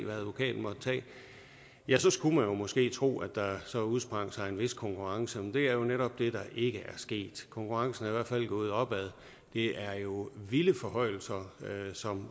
ja så skulle man jo måske tro at der så udsprang en vis konkurrence men det er jo netop det der ikke er sket konkurrencen er i hvert fald gået opad det er jo vilde forhøjelser som